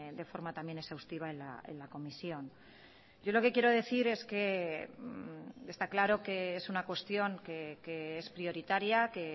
de forma también exhaustiva en la comisión yo lo que quiero decir es que esta claro que es una cuestión que es prioritaria que